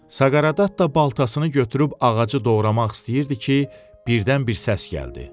Saqareddatta baltasını götürüb ağacı doğramaq istəyirdi ki, birdən bir səs gəldi.